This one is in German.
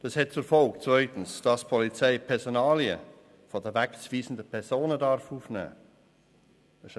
Das hat zweitens zur Folge, dass die Polizei die Personalien der wegzuweisenden Personen aufnehmen kann.